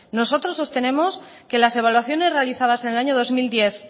nosotros sostenemos que las evaluaciones realizadas en el año dos mil diez